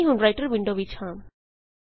ਅਸੀਂ ਹੁਣ writer window ਵਿੱਚ ਹਾਂ